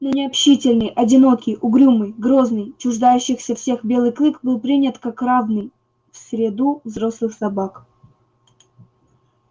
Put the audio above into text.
но необщительный одинокий угрюмый грозный чуждающийся всех белый клык был принят как равный в среду взрослых собак